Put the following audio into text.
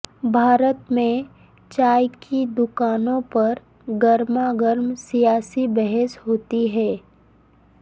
بھارت میں چائے کی دوکانوں پر گرما گرم سیاسی بحث ہوتی ہے